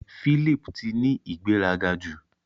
Philip ti ni ìgbéraga jù.